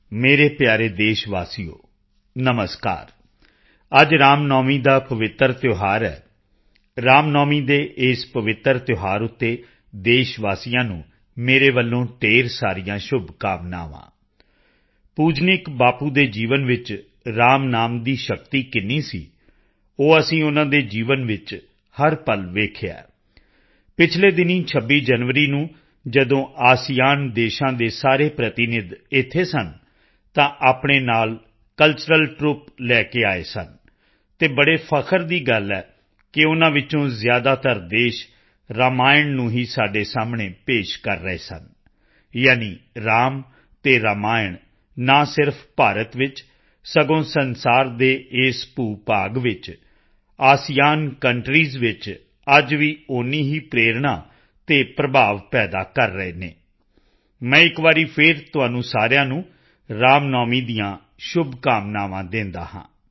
ਮੇਰੇ ਪਿਆਰੇ ਦੇਸ਼ ਵਾਸੀਓ ਨਮਸਕਾਰ ਅੱਜ ਰਾਮਨੌਮੀ ਦਾ ਪਵਿੱਤਰ ਤਿਓਹਾਰ ਹੈ ਰਾਮਨੌਮੀ ਦੇ ਇਸ ਪਵਿੱਤਰ ਤਿਓਹਾਰ ਤੇ ਦੇਸ਼ ਵਾਸੀਆਂ ਨੂੰ ਮੇਰੇ ਵੱਲੋਂ ਢੇਰ ਸਾਰੀਆਂ ਸ਼ੁਭਕਾਮਨਾਵਾਂ ਪੂਜਨੀਕ ਬਾਪੂ ਦੇ ਜੀਵਨ ਵਿੱਚ ਰਾਮ ਨਾਮ ਦੀ ਸ਼ਕਤੀ ਕਿੰਨੀ ਸੀ ਉਹ ਅਸੀਂ ਉਨ੍ਹਾਂ ਦੇ ਜੀਵਨ ਵਿੱਚ ਹਰ ਪਲ ਦੇਖਿਆ ਹੈ ਪਿਛਲੇ ਦਿਨੀਂ 26 ਜਨਵਰੀ ਨੂੰ ਜਦੋਂ ਏਸੀਅਨ ਆਸੀਆਨ ਦੇਸ਼ਾਂ ਦੇ ਸਾਰੇ ਪ੍ਰਤੀਨਿਧ ਇੱਥੇ ਸਨ ਤਾਂ ਆਪਣੇ ਨਾਲ ਕਲਚਰਲ ਟਰੂਪਸ ਲੈ ਕੇ ਆਏ ਸਨ ਅਤੇ ਬੜੇ ਫਖ਼ਰ ਦੀ ਗੱਲ ਹੈ ਕਿ ਉਨ੍ਹਾਂ ਵਿੱਚੋਂ ਜ਼ਿਆਦਾਤਰ ਦੇਸ਼ ਰਮਾਇਣ ਨੂੰ ਹੀ ਸਾਡੇ ਸਾਹਮਣੇ ਪੇਸ਼ ਕਰ ਰਹੇ ਸਨ ਯਾਨਿ ਰਾਮ ਅਤੇ ਰਮਾਇਣ ਨਾ ਸਿਰਫ਼ ਭਾਰਤ ਵਿੱਚ ਸਗੋਂ ਸੰਸਾਰ ਦੇ ਇਸ ਭੂਭਾਗ ਵਿੱਚ ਏਸੀਅਨ ਕੰਟਰੀਜ਼ ਵਿੱਚ ਅੱਜ ਵੀ ਓਨੀ ਹੀ ਪ੍ਰੇਰਣਾ ਅਤੇ ਪ੍ਰਭਾਵ ਪੈਦਾ ਕਰ ਰਹੇ ਹਨ ਮੈਂ ਇੱਕ ਵਾਰੀ ਫਿਰ ਤੁਹਾਨੂੰ ਸਾਰਿਆਂ ਨੂੰ ਰਾਮਨੌਮੀ ਦੀਆਂ ਸ਼ੁਭਕਾਮਨਾਵਾਂ ਦਿੰਦਾ ਹਾਂ